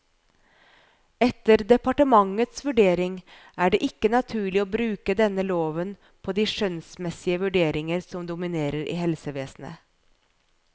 Etter departementets vurdering er ikke det ikke naturlig å bruke denne loven på de skjønnsmessige vurderinger som dominerer i helsevesenet.